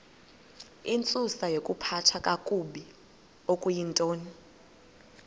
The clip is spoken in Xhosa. intsusayokuphathwa kakabi okuyintoni